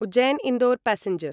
Ujjain Indore passenger